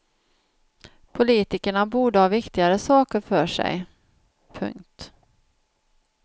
Politikerna borde ha viktigare saker för sig. punkt